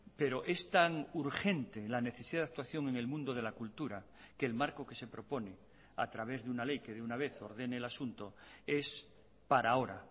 pero es tan urgente la necesidad de actuación en el mundo de la cultura que el marco que se propone a través de una ley que de una vez ordene el asunto es para ahora